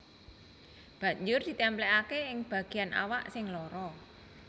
Banjur ditèmplèkaké ing bagéyan awak sing lara